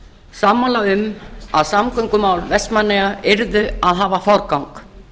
sammála um að samgöngumál vestmannaeyja yrðu að hafa forgang